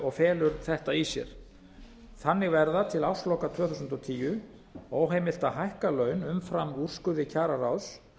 og felur þetta í sér þannig verða til ársloka tvö þúsund og tíu óheimilt að hækka laun umfram úrskurði kjararáðs